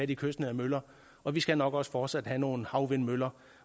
de kystnære møller og vi skal nok også fortsat have nogle havvindmøller